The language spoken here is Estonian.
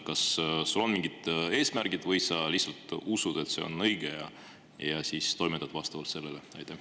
Kas sinu arvates on seal mingid eesmärgid või sa lihtsalt usud, et see on õige, ja siis toimetad vastavalt sellele?